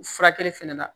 Furakɛli fɛnɛ na